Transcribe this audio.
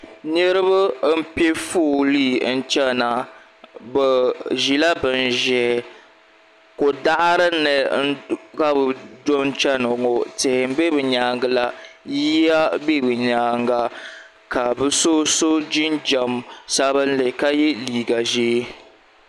Niriba n piɛ foolii n chena bɛ ʒila bin ʒee kodaɣarini ka bɛ tom cheni ŋɔ tihi m be bɛ nyaanga la yiya be bɛ nyaanga ka bɛ so so jinjiɛm sabinli ka ye liiga ʒee.